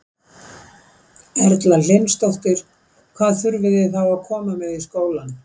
Erla Hlynsdóttir: Hvað þurfið þið þá að koma með í skólann?